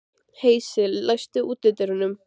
Heisi, læstu útidyrunum.